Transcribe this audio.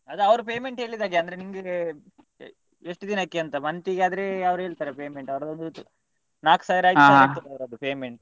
ಅದು ಅವ್ರು payment ಹೇಳಿದಾಗೆ ಅಂದ್ರೆ ನಿಂಗೆ ಎಷ್ಟು ದಿನಕ್ಕೆ ಅಂತ month ಗೆ ಆದ್ರೆ ಅವ್ರೇಳ್ತಾರೆ payment ನಾಕ್ ಸಾವಿರ ಐದು ಸಾವಿರ ಇರ್ತದೆ ಅವ್ರದ್ದು payment .